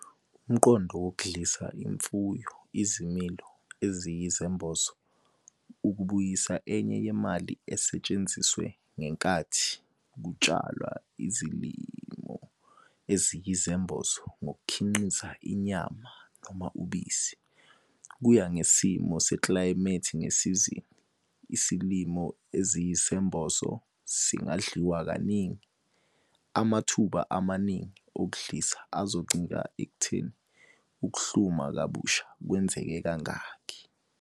Umqondo wokudlisa imfuyo izilimo eziyisembozo ukubuyisa enye yemali esetshenziswe ngenkathi kutshalwa izilimo eziyisembozo ngokukhiqiza inyama noma ubisi. Kuya ngesimo seklayimethi ngesizini, isilimo esiyisembozo singadliwa kaningi. Amathuba amaningi okudlisa azoncika ekutheni ukuhluma kabusha kwenzeke kangakhi.